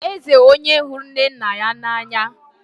Eze, onye hụrụ Nnanna n'anya?